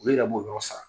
Olu yɛrɛ b'o yɔrɔ sara